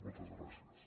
moltes gràcies